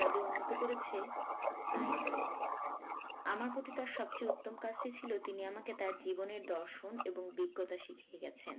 পদে উন্নত করেছে তাই নয় আমার প্রতি তার সবচেয়ে উত্তম কাজটি ছিল তিনি আমাকে তার জীবনের দর্শন এবং বিজ্ঞতা শিখিয়ে গেছেন